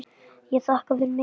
Ég þakka fyrir mig.